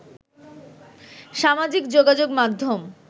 সামাজিক যোগাযোগ মাধ্যম